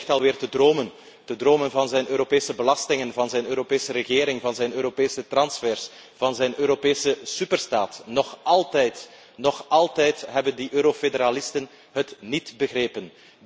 En hij ligt alweer te dromen van zijn Europese belastingen, van zijn Europese regering, van zijn Europese transfers, van zijn Europese superstaat. Nog altijd hebben die eurofederalisten het niet begrepen.